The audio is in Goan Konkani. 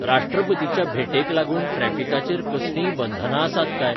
राष्ट्रपतीच्या भेटेक लागून ट्रॅफिकाचेर कसलींय बंधनां आसात काय?